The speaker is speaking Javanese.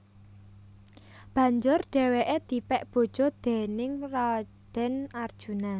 Banjur dheweke dipek bojo déning Raden Arjuna